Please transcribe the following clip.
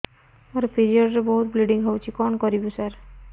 ମୋର ପିରିଅଡ଼ ରେ ବହୁତ ବ୍ଲିଡ଼ିଙ୍ଗ ହଉଚି କଣ କରିବୁ ସାର